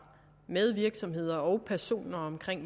med virksomheder og personer om